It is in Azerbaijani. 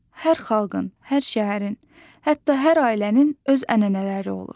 Hər xalqın, hər şəhərin, hətta hər ailənin öz ənənələri olur.